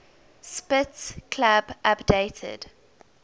spitz club updated